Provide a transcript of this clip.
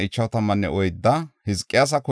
Azmoota asay 42;